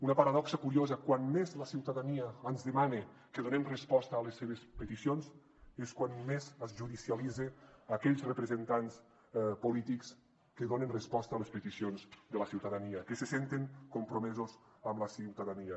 una paradoxa curiosa quan més la ciutadania ens demana que donem resposta a les seves peticions és quan més es judicialitza aquells representants polítics que donen resposta a les peticions de la ciutadania que se senten compromesos amb la ciutadania